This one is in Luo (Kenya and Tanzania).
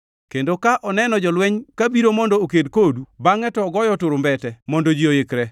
kendo ka oneno jolweny ka biro mondo oked kodu, bangʼe to ogoyo turumbete mondo ji oikre,